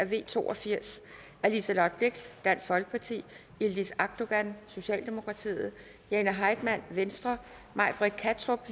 v to og firs af liselott blixt yildiz akdogan jane heitmann may britt kattrup